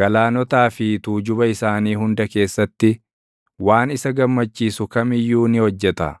galaanotaa fi tuujuba isaanii hunda keessatti, waan isa gammachiisu kam iyyuu ni hojjeta.